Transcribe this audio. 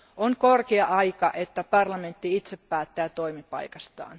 On korkea aika, että parlamentti itse päättää omasta toimipaikastaan.